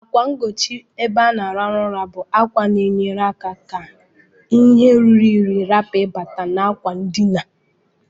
Akwa ngochi ebe ana alarụ ụra bu akwa na enye aka ka ihe ruru inyi rapu iba na akwa ndina.